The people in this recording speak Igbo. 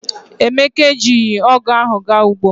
Emeka ejirighi ogu ahu ga ugbo.